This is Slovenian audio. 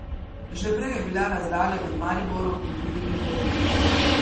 Že prej je bila razdalja med Mariborom in drugimi prevelika.